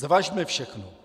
Zvažme všechno!